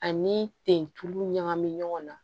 Ani ten tulu ɲagami ɲɔgɔn na